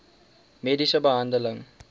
mediese behandeling